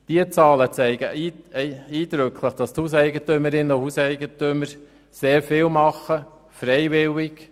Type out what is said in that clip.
Diese Zahlen zeigen eindrücklich, dass auch im Kanton Bern die Hauseigentümerinnen und Hauseigentümer sehr viel tun und zwar freiwillig.